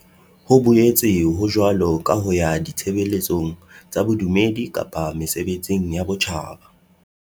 Ho boetse ho jwalo ka ho ya ditshebeletsong tsa bodumedi kapa mesebetsing ya botjhaba.